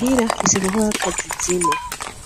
Hira afise inkokokazi zine,